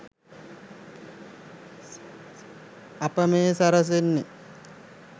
අප මේ සැරසෙන්නේ